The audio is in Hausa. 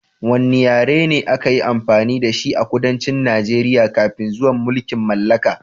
Wanne yare ne da aka yi amfani da shi a kudancin Najeriya kafin zuwan mulkin mallaka?